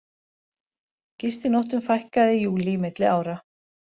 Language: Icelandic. Gistinóttum fækkaði í júlí milli ára